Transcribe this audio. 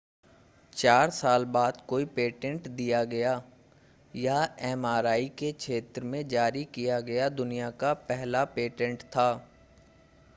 चार साल बाद कोई पेटेंट दिया गया यह एमआरआई के क्षेत्र में जारी किया गया दुनिया का पहला पेटेंट था